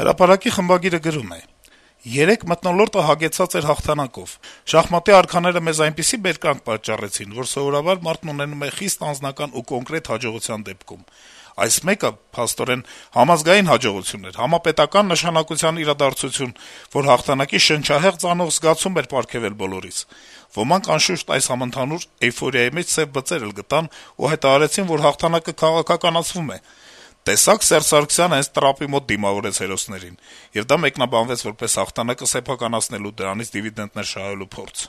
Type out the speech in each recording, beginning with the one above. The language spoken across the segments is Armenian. «Հրապարակ»-ի խմբագիրը գրում է. - «Երեկ մթնոլորտը հագեցած էր հաղթանակով: Շախմատի արքաները մեզ բոլորիս այնպիսի բերկրանք պատճառեցին, որ սովորաբար մարդն ունենում է խիստ անձնական ու կոնկրետ հաջողության դեպքում: Այս մեկը, փաստորեն, համազգային հաջողություն էր, համապետական նշանակության իրադարձություն, որ հաղթանակի շնչահեղձ անող զգացում էր պարգեւել բոլորիս: Ոմանք, անշուշտ, այս համընդհանուր էյֆորիայի մեջ սեւ բծեր էլ գտան ու հայտարարեցին, որ հաղթանակը քաղաքականացվում է՝ «տեսա՞ք Սերժ Սարգսյանը հենց տրապի մոտ դիմավորեց հերոսներին»: Եվ դա մեկնաբանվեց որպես հաղթանակը սեփականացնելու, դրանից դիվիդենտներ շահելու փորձ: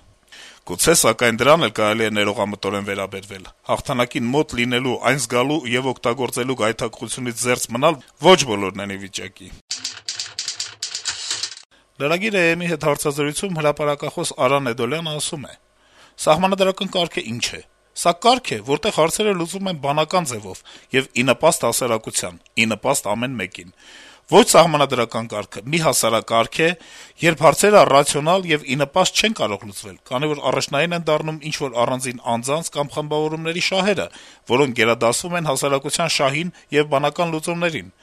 Գուցե, սակայն, դրան էլ կարելի է ներողամտորեն վերաբերվել՝ հաղթանակին մոտ լինելու, այն զգալու եւ օգտագործելու գայթակղությունից զերծ մնալ ոչ բոլորն են ի վիճակի»: Lragiir.am-ի հետ հարցազրույցում հրապարակախոս Արա Նեդոլյանը ասում է. - «Սահմանադրական կարգն ինչ է... սա կարգ է, որտեղ հարցերը լուծվում են բանական ձեւով եւ ի նպաստ հասարակության, ի նպաստ ամեն մեկին: Ոչ սահմանադրական կարգը մի հասարակարգ է, երբ հարցերը ռացիոնալ եւ ի նպաստ չեն կարող լուծվել, քանի որ առաջնային են դառնում ինչ-որ առանձին անձանց կամ խմբավորումների շահերը, որոնք գերադասվում են հասարակության շահին եւ բանական լուծումներին: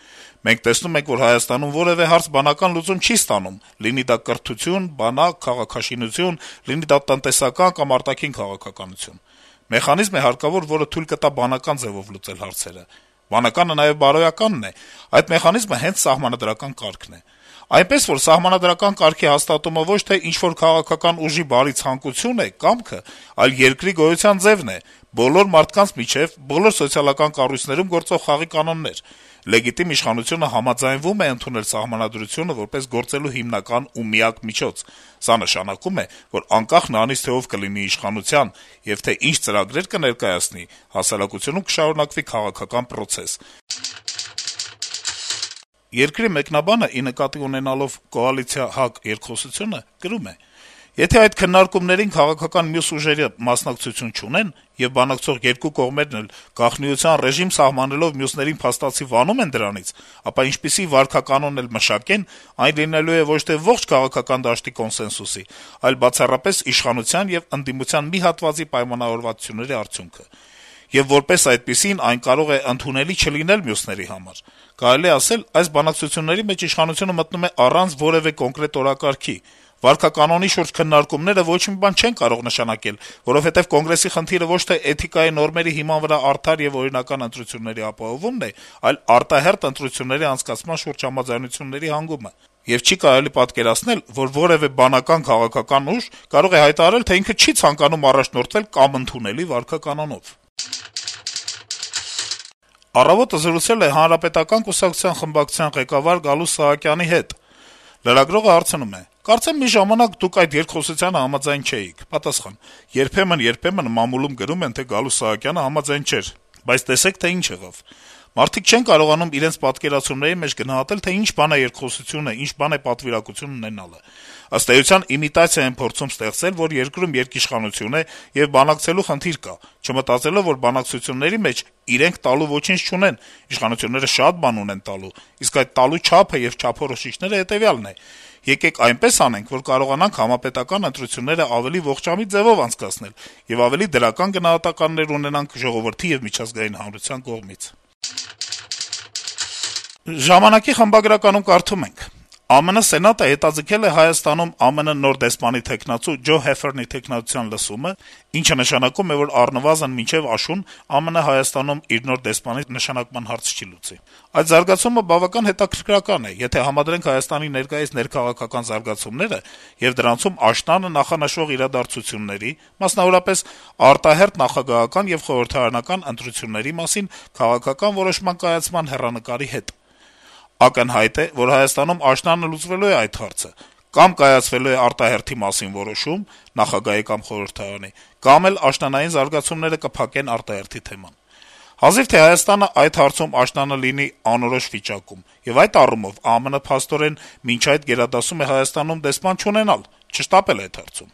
Մենք տեսնում ենք, որ Հայաստանում որեւէ հարց բանական լուծում չի ստանում, լինի դա կրթություն, բանակ, քաղաքաշինություն, լինի դա տնտեսական կամ արտաքին քաղաքականություն: Մեխանիզմ է հարկավոր, որը թույլ կտա բանական ձեւով լուծել հարցերը: Բանականը նաեւ բարոյականն է: Այդ մեխանիզմը հենց սահմանադրական կարգն է: Այնպես որ, սահմանադրական կարգի հաստատումը ոչ թե ինչ-որ քաղաքական ուժի բարի ցանկություն է, կամքը, այլ երկրի գոյության ձեւն է, բոլոր մարդկանց միջեւ, բոլոր սոցիալական կառույցներում գործող խաղի կանոններ: Լեգիտիմ իշխանությունը համաձայնվում է ընդունել սահմանադրությունը որպես գործելու հիմնական ու միակ միջոց: Սա նշանակում է, որ անկախ նրանից, թե ով կլինի իշխանության, եւ թե ինչ ծրագրեր կներկայացնի, հասարակությունում կշարունակվի քաղաքական պրոցես»: «Երկիր» թերթի մեկնաբանը կոալիցիա - ՀԱԿ երկխոսության մասին գրում է. - «Եթե այդ քննարկումներին քաղաքական մյուս ուժերը մասնակցություն չունեն, եւ բանակցող երկու կողմերն էլ, գաղտնիության ռեժիմ սահմանելով, մյուսներին փաստացի վանում են դրանից, ապա ինչպիսի վարքականոն էլ մշակեն, այն լինելու է ոչ թե ողջ քաղաքական դաշտի կոնսենսուսի, այլ բացառապես իշխանության եւ ընդդիմության մի հատվածի պայմանավորվածությունների արդյունքը: Եվ որպես այդպիսին` այն կարող է ընդունելի չլինել մյուսների համար: Կարելի է ասել` այս բանակցությունների մեջ իշխանությունը մտնում է առանց որեւէ կոնկրետ օրակարգի: Վարքականոնի շուրջ քննարկումները ոչ մի բան չեն կարող նշանակել, որովհետեւ Կոնգրեսի խնդիրը ոչ թե էթիկայի նորմերի հիման վրա արդար եւ օրինական ընտրությունների ապահովումն է, այլ արտահերթ ընտրությունների անցկացման շուրջ համաձայնությունների հանգումը: Եվ չի կարելի պատկերացնել, որ որեւէ բանական քաղաքական ուժ կարող է հայտարարել, թե ինքը չի ցանկանում առաջնորդվել համընդունելի վարքականոնով»: «Առավոտ»-ը զրուցել է Հանրապետական կուսակցության խորհրդարանական խմբակցության ղեկավար Գալուստ Սահակյանի հետ: Լրագրողը հարցնում է. -«Կարծեմ մի ժամանակ Դուք այդ երկխոսությանը համաձայն չէիք»: Պատասխան. - «Երբեմն-երբեմն մամուլում գրում են, թե Գալուստ Սահակյանը համաձայն չէր, բայց տեսեք, թե ինչ եղավ: Մարդիկ չեն կարողանում իրենց պատկերացումների մեջ գնահատել, թե ինչ բան է երկխոսությունը, ինչ բան է պատվիրակություն ունենալը: Ըստ էության, իմիտացիա են փորձում ստեղծել, երկրում երկիշխանություն է, եւ բանակցելու խնդիր կա` չմտածելով, որ բանակցությունների մեջ իրենք տալու ոչինչ չունեն, իշխանությունները շատ բան ունեն տալու, իսկ այդ տալու չափը եւ չափորոշիչը հետեւյալն է` եկեք այնպես անենք, որ կարողանանք համապետական ընտրությունները ողջամիտ ձեւով անցկացնենք եւ ավելի դրական գնահատականներ ունենանք ժողովրդի եւ միջազգային հանրության կողմից»: «Ժամանակ»-ի խմբագրականում կարդում ենք. - «ԱՄՆ Սենատը հետաձգել է Հայաստանում ԱՄՆ նոր դեսպանի թեկնածու Ջո Հեֆֆերնի թեկնածության լսումը, ինչը նշանակում է, որ առնվազն մինչեւ աշուն ԱՄՆ Հայաստանում իր նոր դեսպանի նշանակման հարց չի լուծի: Այդ զարգացումը բավական հետաքրքրական է, եթե համադրենք Հայաստանի ներկայիս ներքաղաքական զարգացումների եւ դրանցում աշնանը նախանշվող իրադարձությունների, մասնավորապես արտահերթ նախագահական եւ խորհրդարանական ընտրությունների մասին քաղաքական որոշման կայացման հեռանկարի հետ: Ակնհայտ է, որ Հայաստանում աշնանը լուծվելու է այդ հարցը: Կամ կայացվելու է արտահերթի մասին որոշում՝ նախագահի կամ խորհրդարանի, կամ էլ աշնանային զարգացումները կփակեն արտահերթի թեման: Հազիվ թե Հայաստանն այդ հարցում աշնանը լինի անորոշ վիճակում: Եվ այդ առումով ԱՄՆ փաստորեն մինչ այդ գերադասում է Հայաստանում դեսպան չունենալ, չշտապել այդ հարցում»: